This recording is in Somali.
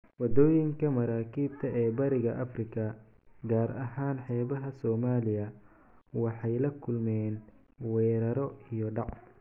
Waddooyinka maraakiibta ee Bariga Afrika, gaar ahaan xeebaha Soomaaliya, waxay la kulmeen weeraro iyo dhac.